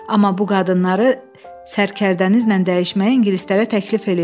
Amma bu qadınları sərkərdənizlə dəyişməyi ingilislərə təklif eləyin.